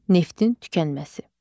Neftin tükənməsi.